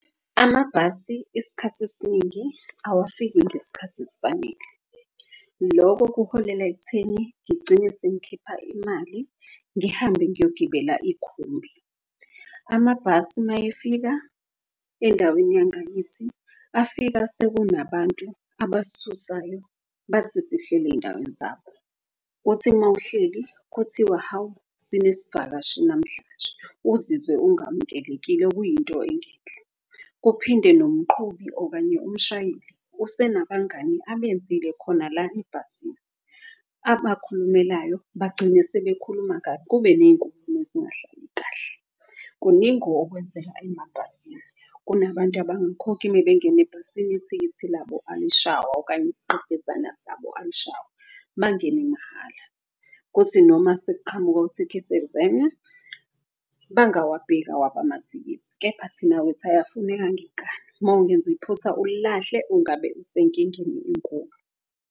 Amabhasi iskhathi esiningi awafiki ngeskhathi esifanele loko kuholela ekutheni ngigcine sengikhipha imali ngihambe ngiyogibela ikhumbi. Amabhasi mayefika endaweni yangakithi afika sekunabantu abasisusayo bathi sihleli ey'ndaweni zakho. Uthi mawuhleli kuthiwa, hawu sinezivakashi namhlanje, uzizwe engamukelekile okuyinto engeyinhle. Kuphinde nomqhubi okanye umshayeli usenabangani abenzile khona la ebhasini. Abakhulumelayo bagcine sebekhuluma kabi kube ney'nkulumo ezingahlali kahle. Kuningi okwenzeka emabhasini kunabantu abangakhokhi mebengena ebhasini ithikithi labo alishaywa. Okanye izigqebhezana sabo ayishaywa mangene mahhala. Kuthi noma sekuqhamuka u-ticket examiner bangawabheki awabo amathikithi kepha thina ukuthi ayafuneka ngenkani. Mawungenza iphutha ulilahle ungabe usenkingeni enkulu.